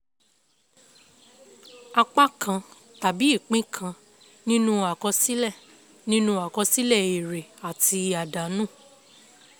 apá kan tàbí ìpín kan nínú àkọsílẹ̀ nínú àkọsílẹ̀ èrè àti àdánù.